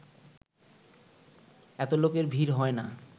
এত লোকের ভিড় হয় না